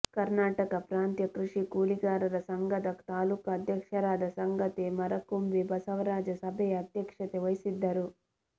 ಕನರ್ಾಟಕ ಪ್ರಾಂತ ಕೃಷಿ ಕೂಲಿಕಾರರ ಸಂಘದ ತಾಲೂಕ ಅಧ್ಯಕ್ಷರಾದ ಸಂಗಾತಿ ಮರಕುಂಬಿ ಬಸವರಾಜ ಸಭೆಯ ಅಧ್ಯಕ್ಷತೆ ವಹಿಸಿದ್ದರು